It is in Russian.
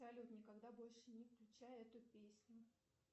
салют никогда больше не включай эту песню